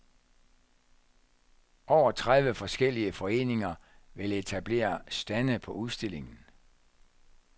Over tredive forskellige foreninger vil etablere stande på udstillingen.